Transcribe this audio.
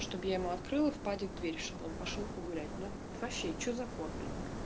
чтобы я ему открыла в падик дверь чтобы он пошёл погулять ну вообще что за кот блин